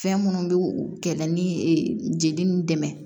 Fɛn minnu bɛ kɛ na ni jeli ni dɛmɛ